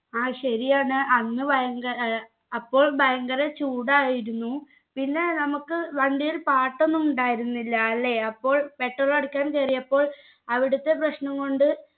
ആ ശാരിയാണ് അന്ന് ഭയങ്ക ഏർ അപ്പോൾ ഭയങ്കര ചൂടായിരുന്നു പിന്നെ നമുക്ക് വണ്ടിയിൽ പാട്ടൊന്നും ഉണ്ടായിരുന്നില്ല അല്ലെ അപ്പോൾ petrol അടിക്കാൻ കേറിയപ്പോൾ അവിടുത്തെ പ്രശ്നം കൊണ്ട്